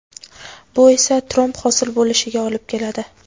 bu esa tromb hosil bo‘lishiga olib keladi.